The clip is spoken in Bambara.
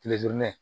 Kile